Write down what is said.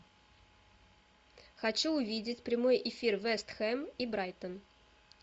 хочу увидеть прямой эфир вест хэм и брайтон